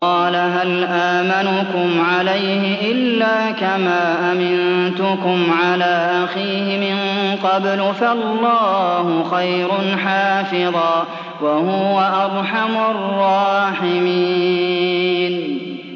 قَالَ هَلْ آمَنُكُمْ عَلَيْهِ إِلَّا كَمَا أَمِنتُكُمْ عَلَىٰ أَخِيهِ مِن قَبْلُ ۖ فَاللَّهُ خَيْرٌ حَافِظًا ۖ وَهُوَ أَرْحَمُ الرَّاحِمِينَ